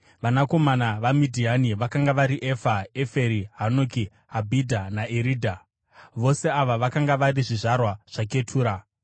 Vanakomana vaMidhiani vakanga vari Efa, Eferi, Hanoki, Abhidha naEridha. Vose ava vakanga vari zvizvarwa zvaKetura.